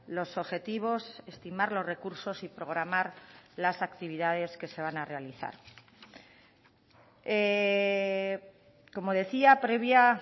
los objetivos estimar los recursos y programar las actividades que se van a realizar como decía previa